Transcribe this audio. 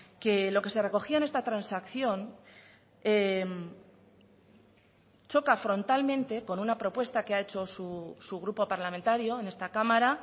que lo que se recogía en esta transacción choca frontalmente con una propuesta que ha hecho su grupo parlamentario en esta cámara